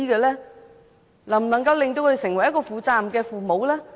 能否令他們成為負責任的父母？